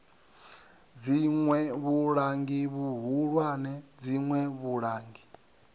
dziṋwe vhulangi vhuhulwane dziṋwe vhulangi